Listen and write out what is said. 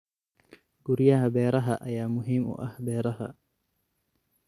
Guryaha beeraha ayaa muhiim u ah beeraha.